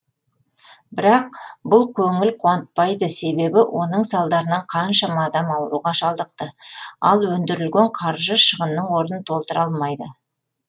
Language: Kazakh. бірақ бұл көңіл қуантпайды себебі оның салдарынан қаншама адам ауруға шалдықты ал өндірілген қаржы шығынның орнын толтыра алмайды